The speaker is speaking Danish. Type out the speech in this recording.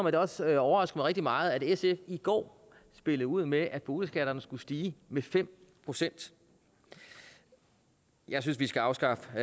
at det også overraskede mig rigtig meget at sf i går spillede ud med at boligskatterne skulle stige med fem procent jeg synes vi skal afskaffe